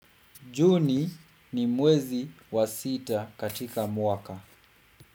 Juni, ni mwezi wa sita katika mwaka.